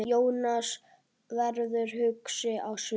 Jónas verður hugsi á svip.